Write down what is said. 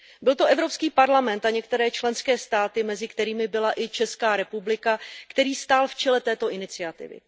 Byl to Evropský parlament a některé členské státy, mezi kterými byla i Česká republika, který stál v čele této iniciativy.